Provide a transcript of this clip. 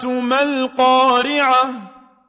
مَا الْقَارِعَةُ